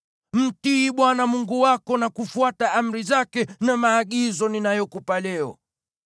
Mtii Bwana Mungu wako, na kufuata amri zake na maagizo ninayokupa leo.”